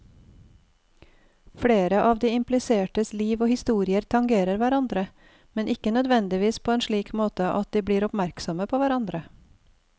Flere av de implisertes liv og historier tangerer hverandre, men ikke nødvendigvis på en slik måte at de blir oppmerksomme på hverandre.